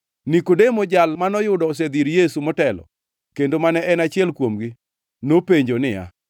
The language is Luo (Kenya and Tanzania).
Nikodemo, jal manoyudo osedhi ir Yesu motelo, kendo mane en achiel kuomgi, nopenjo niya,